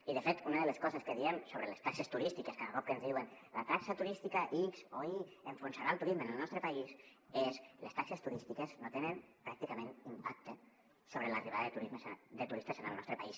i de fet una de les coses que diem sobre les taxes turístiques cada cop que ens diuen la taxa turística ics o i enfonsarà el turisme en el nostre país és que les taxes turístiques no tenen pràcticament impacte sobre l’arribada de turistes en el nostre país